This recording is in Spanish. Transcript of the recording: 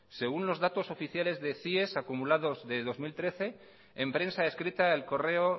según los datos oficiales de cies acumulados de dos mil trece en prensa escrita el correo